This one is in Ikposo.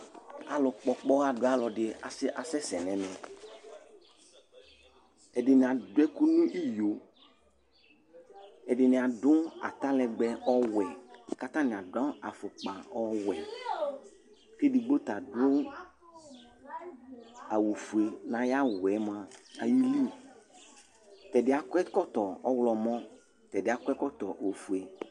Alʊ ƙpɔ ɔƙpɔwa dʊ alʊ asɛsɛ ŋɛmɛ Ɛdɩŋɩvadʊ ɛkʊ ŋʊ ɩƴo Ɛdɩŋɩ adʊ atalɛgbɛ ɔwɛ, kataŋɩ adʊ afɔƙpa ɔwɛ kedigbo tadʊ awʊ fʊe ŋaƴawʊ yɛ mʊa aƴɩlɩ Tɛdɩ ƴɛ akɔvɛƙɔtɔvɔwlɔmɔ Tɛdɩ ƴɛ akɔvɛƙɔtɔbofʊe